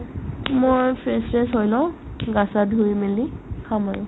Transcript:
মই fresh চেচ হৈ লও গা চা ধুই মেলি খাম আৰু